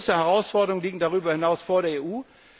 Große Herausforderungen liegen darüber hinaus vor